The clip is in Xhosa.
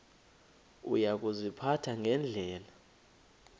uya kuziphatha ngendlela